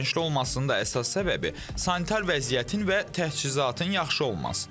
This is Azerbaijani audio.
Ödənişli olmasının da əsas səbəbi sanitar vəziyyətin və təchizatın yaxşı olmasıdır.